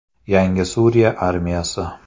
Yangi Suriya armiyasi.